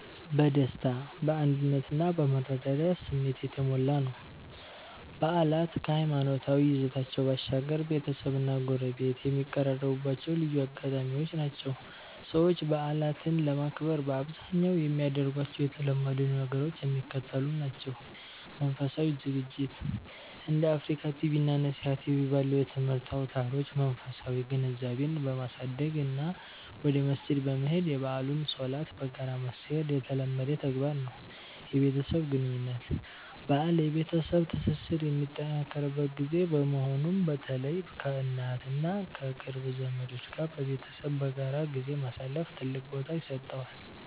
በደስታ፣ በአንድነት እና በመረዳዳት ስሜት የተሞላ ነው። በዓላት ከሃይማኖታዊ ይዘታቸው ባሻገር፣ ቤተሰብና ጎረቤት የሚቀራረቡባቸው ልዩ አጋጣሚዎች ናቸው። ሰዎች በዓላትን ለማክበር በአብዛኛው የሚያደርጓቸው የተለመዱ ነገሮች የሚከተሉት ናቸው፦ መንፈሳዊ ዝግጅት፦ እንደ አፍሪካ ቲቪ እና ነሲሃ ቲቪ ባሉ የትምህርት አውታሮች መንፈሳዊ ግንዛቤን በማሳደግ እና ወደ መስጂድ በመሄድ የበዓሉን ሶላት በጋራ መስገድ የተለመደ ተግባር ነው። የቤተሰብ ግንኙነት፦ በዓል የቤተሰብ ትስስር የሚጠናከርበት ጊዜ በመሆኑ፣ በተለይ ከእናት እና ከቅርብ ዘመዶች ጋር በመሰብሰብ በጋራ ጊዜ ማሳለፍ ትልቅ ቦታ ይሰጠዋል።